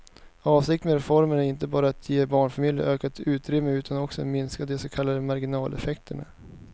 Avsikten med reformen är inte bara att ge barnfamiljerna ökat utrymme utan också minska de så kallade marginaleffekterna.